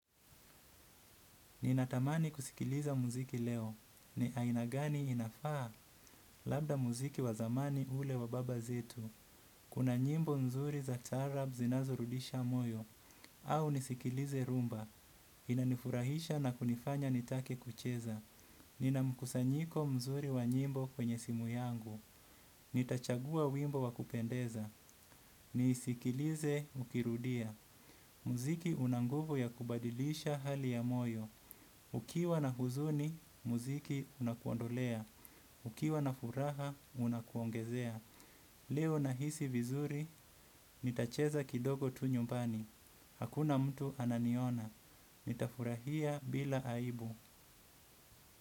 Ninatamani kusikiliza muziki leo, ni aina gani inafaa labda muziki wazamani ule wa baba zetu. Kuna nyimbo mzuri za taarab zinazurudisha moyo, au nisikilize rumba, inanifurahisha na kunifanya nitake kucheza. Ninamkusanyiko mzuri wa nyimbo kwenye simu yangu, nitachagua wimbo wakupendeza, nisikilize ukirudia. Muziki unanguvu ya kubadilisha hali ya moyo. Ukiwa na huzuni, muziki unakuondolea. Ukiwa na furaha, unakuongezea. Leo na hisi vizuri, nitacheza kidogo tu nyumbani. Hakuna mtu ananiona. Nitafurahia bila aibu.